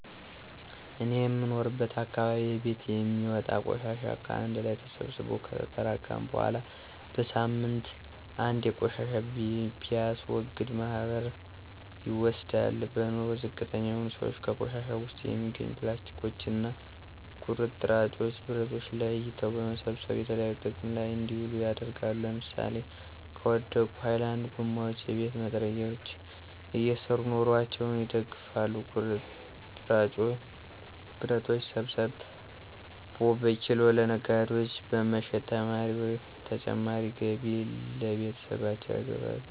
እኔ የምኖርበት አካባቢ በየቤቱ የሚወጣን ቆሻሻ ከአንድ ላይ ተሰብስቦ ከተጠራቀመ በኃላ በሳምንት አንዴ ቆሻሻ በሚያስወግድ ማህበር ይወሰዳል። በኑሮ ዝቅተኛ የሆኑ ስዎች ከቆሻሻው ውስጥ የሚገኙ ፕላስቲኮችን እና ቁርጥራጭ ብረቶችን ለይቶ በመሰብሰብ የተለያዩ ጥቅም ላይ እንዲውሉ ያደርጋሉ ለምሳሌ ከወደቁ ሀይላንድ ጎማዎች የቤት መጥረጊያ እየሰሩ ኑሮአቸውን ይደግፋሉ። ቁርጥራጭ ብረቶችን ሰብስቦ በኪሎ ለነጋዴዎች በመሸጥ ተጨማሪ ገቢ ለቤተሰባቸው ያስገባሉ።